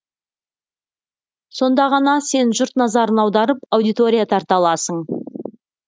сонда ғана сен жұрт назарын аударып аудитория тарта аласың